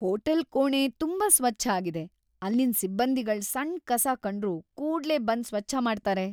Hotel ಕೋಣೆ ತುಂಬಾ ಸ್ವಚ್ಛ ಆಗಿದೆ, ಅಲ್ಲಿನ್ ಸಿಬ್ಬಂದಿಗಳ್ ಸಣ್ ಕಸ ಕಂಡ್ರು ಕೂಡ್ಲೇ ಬಂದ್ ಸ್ವಚ್ಛ ಮಾಡ್ತಾರೆ.